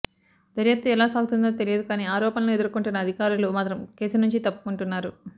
దర్యాప్తు ఎలా సాగుతుందో తెలియదు కానీ ఆరోపణలు ఎదుర్కొంటున్న అధికారులు మాత్రం కేసు నుంచి తప్పుకుంటున్నారు